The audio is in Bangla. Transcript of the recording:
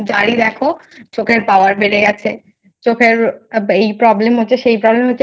যার ই দেখো চোখের Power বেড়ে গেছে চোখের এই Problem হচ্ছে সেই Problem হচ্ছে।